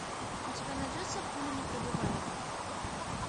у тебя найдется пуленепробиваемый